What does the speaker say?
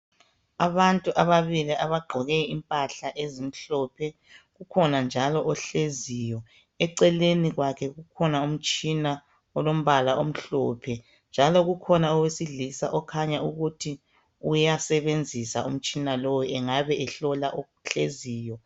Abantu ababili abagqoke impahla ezimhlophe, kukhona njalo ohleziyo eceleni kwakhe kukhona umtshina njalo ukhona owesilisa okhanya ewusebenzisa ukuhlola ohleziyo.